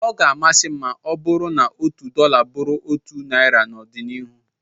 Ọ ga-amasị m ma ọ bụrụ na otu dọla bụrụ otu naira n'ọdịnihu